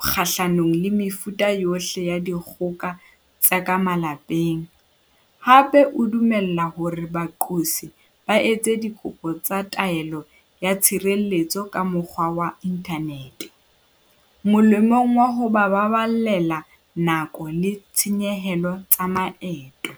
kgahlanong le mefuta yohle ya dikgoka tsa ka malapeng, hape o dumella hore baqosi ba etse dikopo tsa taelo ya tshireletso ka mokgwa wa inthanete, molemong wa ho ba baballela nako le ditshenyehelo tsa maeto.